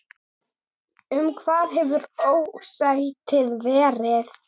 Um hvað hefur ósættið verið?